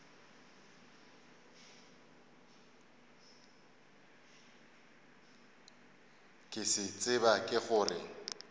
ke se tseba ke gore